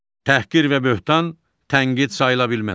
Təhqir və böhtan tənqid sayıla bilməz.